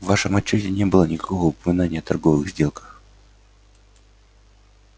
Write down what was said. в вашем отчёте не было никакого упоминания о торговых сделках